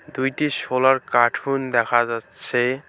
দুইটি শোলার কাঠুন দেখা যাচ্ছে।